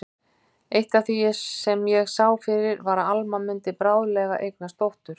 Eitt af því sem ég sá fyrir var að Alma mundi bráðlega eignast dóttur.